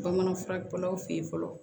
Bamanan furakɛlaw fe yen fɔlɔ